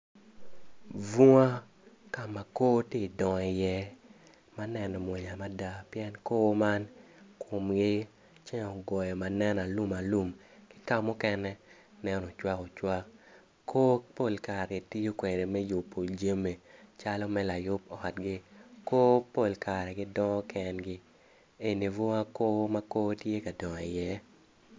Bunga ka ma kor tye ka dongo i ye ma neno mwonya mada pien kor man pien ceng ogoyogi ma nen alumalum ki kamuken nen ocwak ocwak kor pol kare kitiyo kwede me tiyo jami calo me layub otgi kor pol kare gidongo kengi eni bunga kor ma kor tye ka dongo iye.